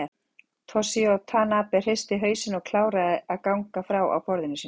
Toshizo Tanabe hristi hausinn og kláraði að gagna frá á borðinu sínu.